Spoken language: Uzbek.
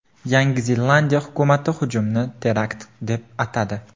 Yangi Zelandiya hukumati hujumni terakt deb atadi.